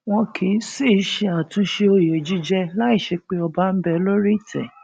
wọn kì í sì í ṣe àtúnṣe òye jíjẹ láì ṣe pé ọba ń bẹ lórí ìtẹ